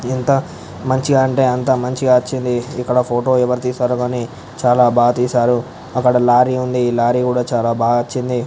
ఎంత మంచిగా అంటే అంత మంచిగా వచ్చింది .ఇక్కడ ఫోటో ఎవరు తీశారో గని చాల బాగా తీశారు అక్కడ ఒక లారీ ఉంది లారీ కూడా చాల బాగా వచ్చింది .